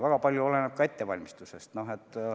Väga palju oleneb ka ettevalmistusest.